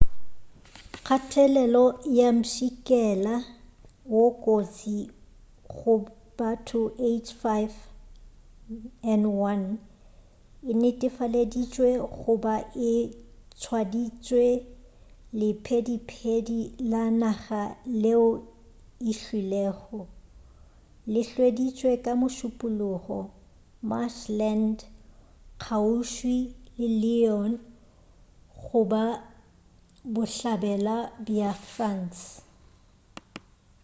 kgathelelo ya mpšhikela wo kotsi go batho h5n1 e netefaleditšwe go ba e tswaditše lephediphedi la naga leo le hwilego le hweditšwe ka mošupulogo marshland kgauswi le lyon go la bohlabela bja france